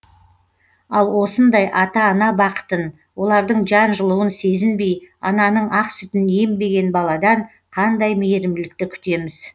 ал осындай ата ана бақытын олардың жан жылуын сезінбей ананың ақ сүтін ембеген баладан қандай мейірімділікті күтеміз